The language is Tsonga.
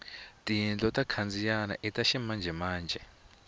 tiyindlu to khandziyana ita ximanjemanje